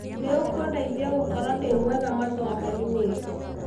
nĩũkũndeithia gũkorwo ndĩmwega mathomoinĩ